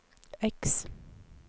X